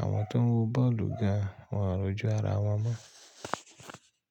àwọn tó ń wo bọ́ọ̀lù gan wọ́n rújú ara wọn mọ́.